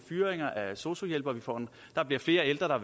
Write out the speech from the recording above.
fyringer af sosu hjælpere der bliver flere ældre der